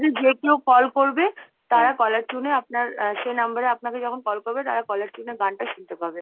যে কেউ call করবে caller tune এ আপনার সেই number এ আপনাকে যখন call করবে তারা caller tune এ গানটা শুনতে পাবে।